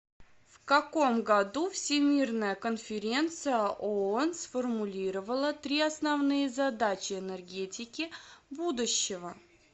в каком году всемирная конференция оон сформулировала три основные задачи энергетики будущего